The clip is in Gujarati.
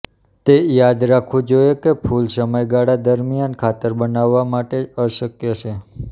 તે યાદ રાખવું જોઈએ કે ફૂલ સમયગાળા દરમિયાન ખાતર બનાવવા માટે અશક્ય છે